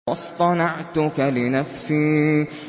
وَاصْطَنَعْتُكَ لِنَفْسِي